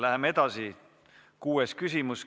Läheme edasi: kuues küsimus.